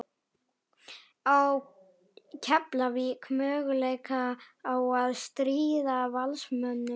Á Keflavík möguleika á að stríða Valsmönnum?